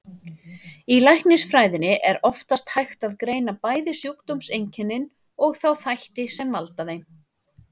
Í læknisfræðinni er oftast hægt að greina bæði sjúkdómseinkennin og þá þætti sem valda þeim.